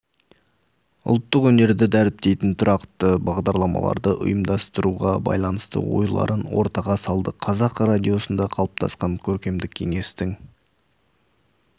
ұлттық өнерді дәріптейтін тұрақты бағдарламаларды ұйымдастыруға байланысты ойларын ортаға салды қазақ радиосында қалыптасқан көркемдік кеңестің